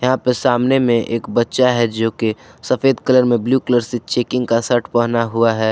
यहां पे सामने में एक बच्चा है जोकि सफेद कलर में ब्लू कलर से चेकिंग का शर्ट पहना हुआ है।